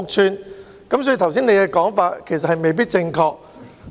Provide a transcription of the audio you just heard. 所以，特首剛才的說法其實未必正確。